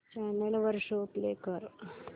channel वर show play कर